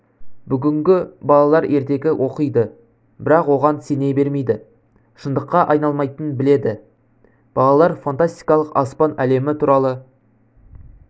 бүгінгі балалар ертегі оқиды бірақ оған сене бермейді шындыққа айналмайтынын біледі балалар фантастикалық аспан әлемі туралы